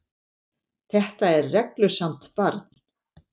Þetta er reglusamt barn.